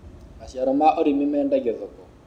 maciaro ma ũrĩmi mendagio thoko